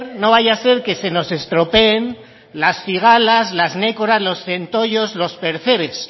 no vaya a ser que se nos estropeen las cigalas los nécoras los centollos los percebes